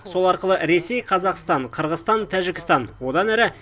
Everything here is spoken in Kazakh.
сол арқылы ресей қазақстан қырғызстан тәжікстан одан әрі